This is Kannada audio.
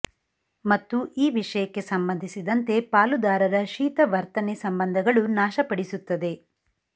ಮತ್ತು ಈ ವಿಷಯಕ್ಕೆ ಸಂಬಂಧಿಸಿದಂತೆ ಪಾಲುದಾರರ ಶೀತ ವರ್ತನೆ ಸಂಬಂಧಗಳು ನಾಶಪಡಿಸುತ್ತದೆ